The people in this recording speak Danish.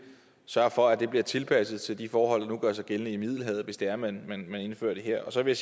sørge for at det bliver tilpasset til de forhold der nu gør sig gældende i middelhavet hvis det er man indfører det her og så vil